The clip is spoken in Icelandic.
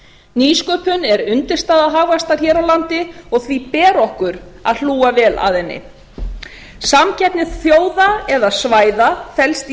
nýsköpun er undirstaða hagvaxtar hér á landi og því ber okkur að hlúa vel að henni samkeppni þjóða eða svæða felst